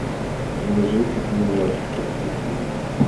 ни жив ни мертв подключи